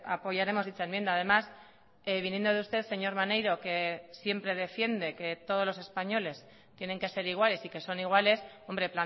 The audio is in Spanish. apoyaremos dicha enmienda además viniendo de usted señor maneiro que siempre defiende que todos los españoles tienen que ser iguales y que son iguales hombre